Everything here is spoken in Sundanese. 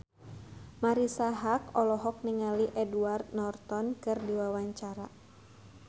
Marisa Haque olohok ningali Edward Norton keur diwawancara